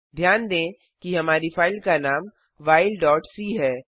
ध्यान दें कि हमारी फ़ाइल का नाम whileसी है